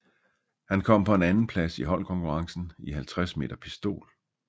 Han kom på en andenplads i holdkonkurrencen i 50 m pistol